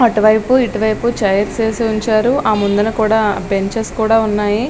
అటువైపు ఇటువైపు చైర్స్ వేసి ఉంచారు ఆ ముందన కూడా బెంచెస్ ఉన్నాయి.